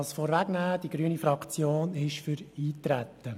Die grüne Fraktion ist für das Eintreten.